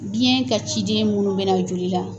Biyɛn ka ciden munnu bɛ na joli la